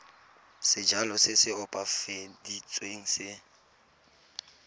sejalo se se opafaditsweng se